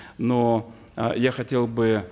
но э я хотел бы